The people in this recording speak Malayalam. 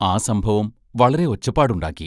ആ സംഭവം വളരെ ഒച്ചപ്പാടുണ്ടാക്കി.